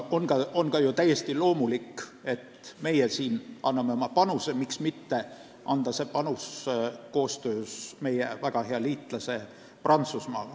On täiesti loomulik, et ka meie anname oma panuse, ja miks mitte teha seda koostöös väga hea liitlase Prantsusmaaga.